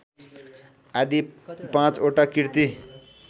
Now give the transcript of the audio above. आदि पाँचवटा कृति